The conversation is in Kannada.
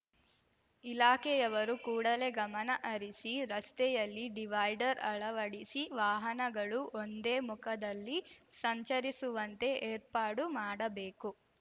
ಇಲಾಖೆಯವರು ಕೂಡಲೇ ಗಮನ ಹರಿಸಿ ರಸ್ತೆಯಲ್ಲಿ ಡಿವೈಡರ್ ಅಳವಡಿಸಿ ವಾಹನಗಳು ಒಂದೇ ಮುಖದಲ್ಲಿ ಸಂಚರಿಸುವಂತೆ ಏರ್ಪಾಡು ಮಾಡಬೇಕು